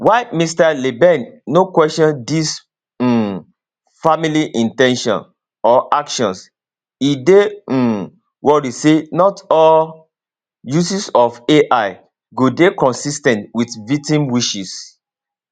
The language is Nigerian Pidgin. while mr leben no question dis um family in ten tion or actions e dey um worry say not all uses of ai go dey consis ten t wit victim wishes